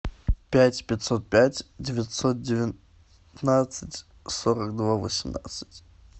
пять пятьсот пять девятьсот девятнадцать сорок два восемнадцать